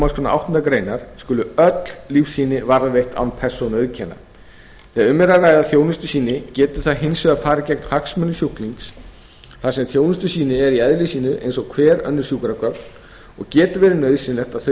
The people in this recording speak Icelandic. málsgrein áttundu grein skulu öll lífsýni varðveitt án persónuauðkenna þegar um er að ræða þjónustusýni getur það hins vegar farið gegn hagsmunum sjúklings þar sem þjónustusýni eru í eðli sínu eins og hver önnur sjúkragögn og getur verið nauðsynlegt að þau